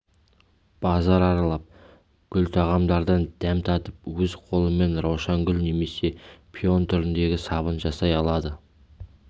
базар аралап гүл тағамдардан дәм татып өз қолымен раушангүл немесе пион түріндегі сабын жасай алады